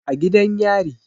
A gidan yari